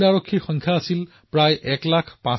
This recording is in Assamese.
তেওঁলোক আমাৰ কোব্ৰা বেটেলিয়নৰ অংশ হব